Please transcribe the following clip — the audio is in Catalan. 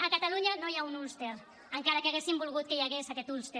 a catalunya no hi ha un ulster encara que haguessin volgut que hi hagués aquest ulster